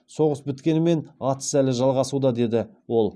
соғыс біткенімен атыс әлі жалғасуда деді ол